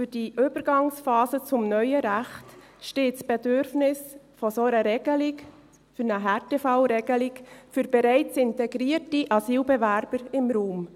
Für die Übergangsphase zum neuen Recht steht das Bedürfnis nach einer solchen Härtefallregelung für bereits integrierte Asylbewerber im Raum.